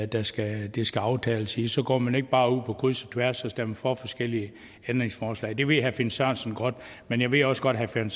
det skal skal aftales i så går man ikke bare ud på kryds og tværs og stemmer for forskellige ændringsforslag det ved herre finn sørensen godt men jeg ved også godt at herre finn